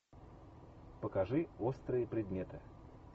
покажи острые предметы